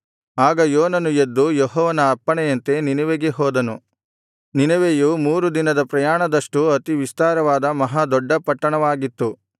ಆಗ ಯೋನನು ಎದ್ದು ಯೆಹೋವನ ಅಪ್ಪಣೆಯಂತೆ ನಿನೆವೆಗೆ ಹೋದನು ನಿನೆವೆಯು ಮೂರು ದಿನದ ಪ್ರಯಾಣದಷ್ಟು ಅತಿ ವಿಸ್ತಾರವಾದ ಮಹಾದೊಡ್ಡ ಪಟ್ಟಣವಾಗಿತ್ತು